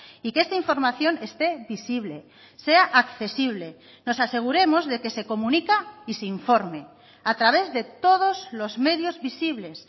y que esta información esté visible sea accesible nos aseguremos de que se comunica y se informe a través de todos los medios visibles